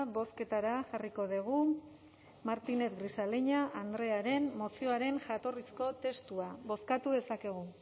bozketara jarriko dugu martínez grisaleña andrearen mozioaren jatorrizko testua bozkatu dezakegu